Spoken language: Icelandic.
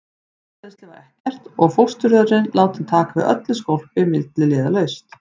Frárennsli var ekkert og fósturjörðin látin taka við öllu skólpi milliliðalaust.